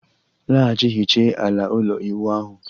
Laghachi hiche ala ụlọ ịwụ ahu